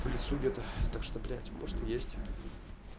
в лесу где-то так что блять может и есть